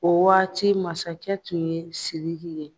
O waati masakɛ tun ye Sidiki ye.